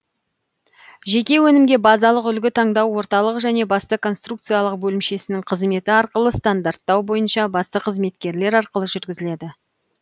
жеке өнімге базалық үлгі таңдау орталық және басты конструкциялық бөлімшесінің қызметі арқылы стандарттау бойынша басты қызметкерлер арқылы жүргізіледі